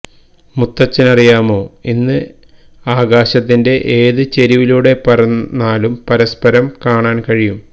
മുത്തച്ഛനറിയാമോ ഇന്ന് ആകാശത്തിന്റെ ഏതു ചരിവിലൂടെ പറന്നാലും പരസ്പരം കാണാന് കഴിയും